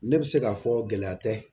Ne bɛ se k'a fɔ gɛlɛya tɛ